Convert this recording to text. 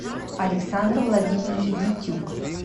александр владимирович дитюк